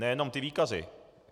Nejenom ty výkazy.